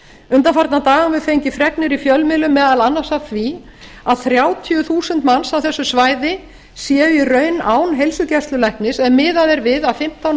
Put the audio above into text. undanfarna daga höfum við fengið fregnir í fjölmiðlum meðal annars af því að þrjátíu þúsund manns á þessu svæði séu í raun án heilsugæslulæknis ef miðað er við að fimmtán